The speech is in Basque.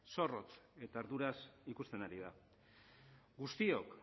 zorrotz eta arduraz ikusten ari da guztiok